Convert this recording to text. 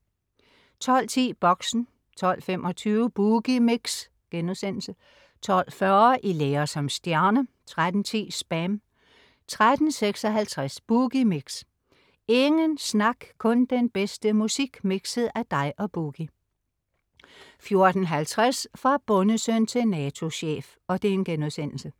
12.10 Boxen 12.25 Boogie Mix* 12.40 I lære som stjerne 13.10 SPAM 13.56 Boogie Mix. Ingen snak, kun den bedste musik mikset af dig og "Boogie" 14.50 Fra bondesøn til NATO-chef*